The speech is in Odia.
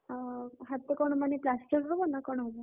ଓ ହାତ କଣ ମାନେ plaster ହବ ନା କଣ ହବ?